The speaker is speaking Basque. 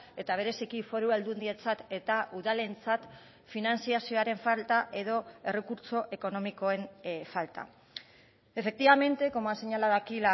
eta bereziki foru aldundientzat eta udalentzat finantzazioaren falta edo errekurtso ekonomikoen falta efectivamente como ha señalado aquí